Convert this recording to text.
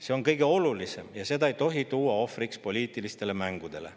See on kõige olulisem ja seda ei tohi tuua ohvriks poliitilistele mängudele.